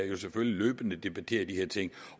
jo selvfølgelig løbende debattere de her ting